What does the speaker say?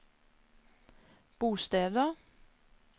bosteder